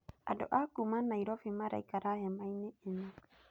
Andũ a kuuma Nairobi waraikara hema-inĩ ĩno.